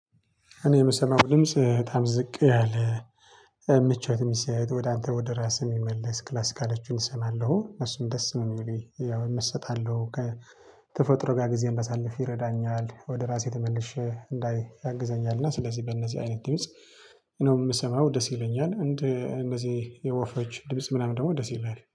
እኔ የምሰማው ድምጽ በጣም ዝቅ ያለ ምቾት የሚሰጥ ወደ አንተ ወደ ራስህ የሚመለስ ክላስ ካለችው እሰማለሁ እሱም ደስ ነው የሚለኝ ያው እመሰጣለሁ ከተፈጥሮ ጋር ጊዜ እንዳሳልፍ ይረዳኛል ወደ ራሴ ተመልሼ እንዳይ ያግዘኛል። እና ስለዚህ በእነዚህ አይነት ድምጽ ነው የምሰማው ደስ ይለኛል እንደ እነዚህ የወፎች ድምጽ ምናምን ደግሞ ደስ ይለኛል